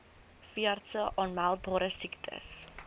veeartse aanmeldbare siektes